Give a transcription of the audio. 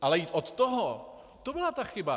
Ale jít od toho, to byla ta chyba.